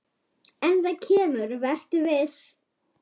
En það kemur, vertu viss.